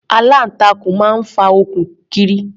Aláǹtakùn máa ń fa okùn kiri.